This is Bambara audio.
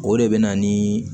O de bɛ na ni